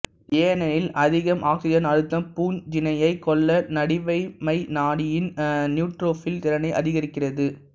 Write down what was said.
ஏனெனில் அதிக ஆக்ஸிஜன் அழுத்தம் பூஞ்சையினைக் கொல்ல நடுவமைநாடியின் நியூட்ரோபில் திறனை அதிகரிக்கிறது